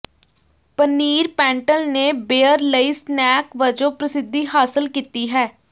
ਪਨੀਰ ਪੈਂਟਲ ਨੇ ਬੀਅਰ ਲਈ ਸਨੈਕ ਵਜੋਂ ਪ੍ਰਸਿੱਧੀ ਹਾਸਲ ਕੀਤੀ ਹੈ